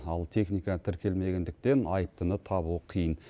ал техника тіркелмегендіктен айыптыны табу қиын